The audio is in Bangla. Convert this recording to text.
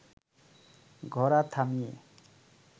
ঘোড়া থামিয়ে